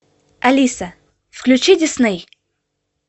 алиса включи дисней